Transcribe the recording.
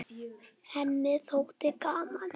Henni þótti gaman.